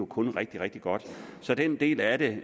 kun rigtig rigtig godt så den del af det